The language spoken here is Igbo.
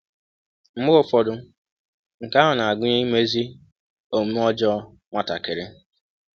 Mgbe ụfọdụ, nke ahụ na-agụnye imezi omume ọjọọ nwatakịrị.